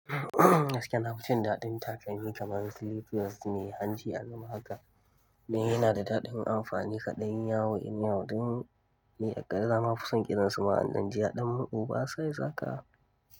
Gaskiya nafi jin daɗin takalmi kamar slippers mai hanci a gaba haka. Mai yana da daɗin amfani kaɗanyi yawo in yau, don me a ƙarshe zamu fi son ƙiransu ma'anannijiya ɗan maɓuba sai zaka.